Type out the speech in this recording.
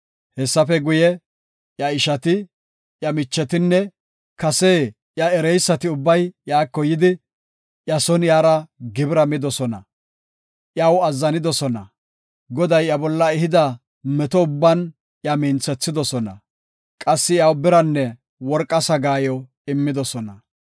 Hessafe guye, iya ishati, iya michetinne kase iya ereysati ubbay iyako yidi, iya son iyara gibira midosona. Iyaw azzanidosona; Goday iya bolla ehida meto ubban iya minthethidosona; qassi iyaw biranne worqa sagaayo immidosona.